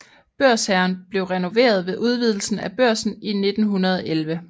Børshagen blev renoveret ved udvidelsen af Børsen i 1911